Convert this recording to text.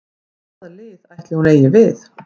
Hvað lið ætli hún eigi við?